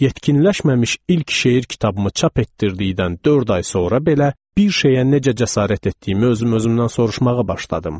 Yetkinləşməmiş ilk şeir kitabımı çap etdirdikdən dörd ay sonra belə bir şeyə necə cəsarət etdiyimi özüm-özümdən soruşmağa başladım.